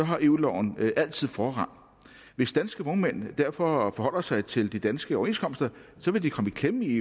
har eu loven altid forrang hvis danske vognmænd derfor forholder sig til de danske overenskomster vil de komme i klemme i